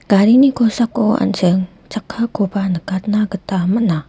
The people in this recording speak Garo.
garini kosako an·ching chakkakoba nikatna gita man·a.